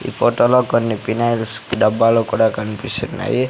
ఈ ఫోటో లో కొన్ని పినాయిల్స్ డబ్బాలో కూడా కనిపిస్తున్నాయి.